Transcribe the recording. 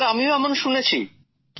sir আমি এমন শুনেছি